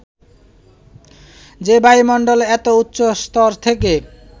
যে বায়ুমন্ডলের এত উচ্চ স্তর থেকে